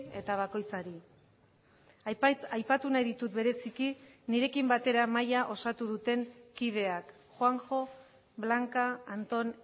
eta bakoitzari aipatu nahi ditut bereziki nirekin batera mahaia osatu duten kideak juanjo blanca anton